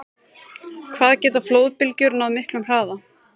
Hvað geta flóðbylgjur náð miklum hraða?